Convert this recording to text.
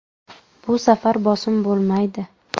Bu safar bosim bo‘lmaydi.